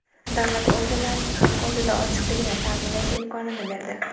davlat organlarining xalq oldida ochiqligini ta’minlash imkonini berdi.